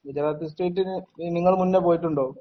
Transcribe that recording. ഗുജറാത്തി സ്ട്രീറ്റിനെ നിങ്ങൾ മുന്നേ പോയിട്ടുണ്ടോ?